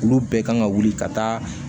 Olu bɛɛ kan ka wuli ka taa